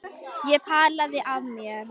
Ég talaði af mér.